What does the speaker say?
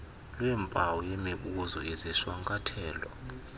lweempawu yemibuzo izishwankathelo